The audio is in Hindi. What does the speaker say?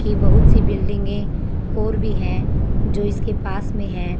की बहुत सी बिल्डिंगे और भी है जो इसके पास में है।